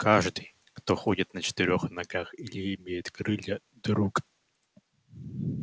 каждый кто ходит на четырёх ногах или имеет крылья друг